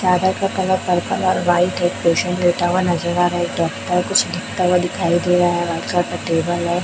चादर का colour purple और व्हाइट है एक पेशेंट लेटा हुआ नजर आ रहा है एक डॉक्टर कुछ लिखता हुआ दिखाई दे रहा है व्हाइट कलर का टेबल हैं।